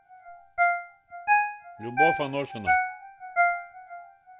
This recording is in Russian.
любовь анохина